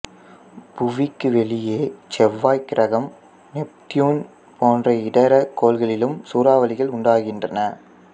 புவிக்கு வெளியே செவ்வாய் கிரகம் நெப்டியூன் போன்ற இதர கோள்களிலும் சூறாவளிகள் உண்டாகின்றன